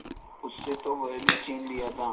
उससे तो वह भी छीन लिया था